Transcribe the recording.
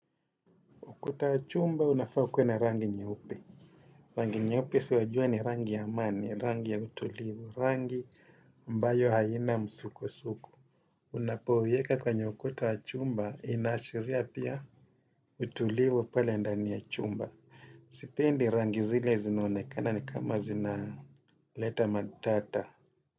Kuta ya chumba, unafau ukuwe na rangi nyeupe. Rangi nyeupe si wajua ni rangi ya amani, rangi ya utulivu, rangi ambayo haina msuko-suko. Unapoiweka kwenye ukuta wa chumba, inashiria pia utulivu pale ndani ya chumba. Sipendi rangi zile zinaonekana ni kama zina leta matata.